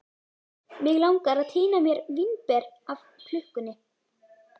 Mig langar að tína mér vínber af klukkunni.